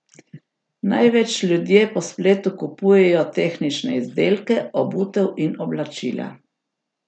Največ ljudje po spletu kupujejo tehnične izdelke, obutev in oblačila.